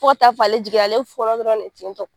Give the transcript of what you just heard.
Fo ka taa fɔ ale jiginna ale be fɔɔnɔ dɔrɔn de ten tɔ .